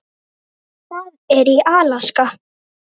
Það er í Alaska.